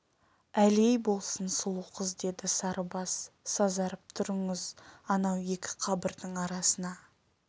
әлей болсын сұлу қыз деді сарыбас сазарып тұрыңыз анау екі қабырдың арасына